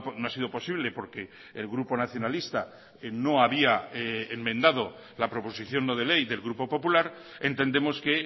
no ha sido posible porque el grupo nacionalista no había enmendado la proposición no de ley del grupo popular entendemos que